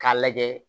K'a lajɛ